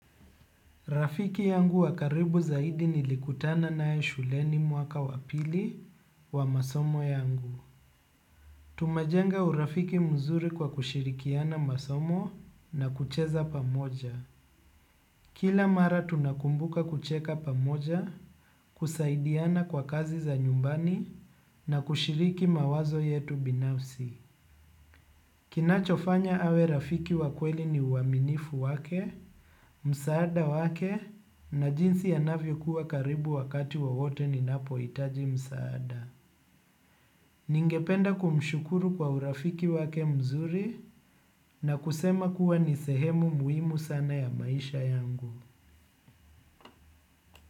Rafiki yangu wa karibu zaidi nilikutana naye shuleni mwaka wa pili wa masomo yangu. Tumajenga urafiki mzuri kwa kushirikiana masomo na kucheza pamoja. Kila mara tunakumbuka kucheka pamoja, kusaidiana kwa kazi za nyumbani na kushiriki mawazo yetu binafsi. Kinachofanya awe rafiki wa kweli ni uaminifu wake, msaada wake na jinsi anavyokuwa karibu wakati wowote ninapohitaji msaada. Ningependa kumshukuru kwa urafiki wake mzuri na kusema kuwa ni sehemu muhimu sana ya maisha yangu.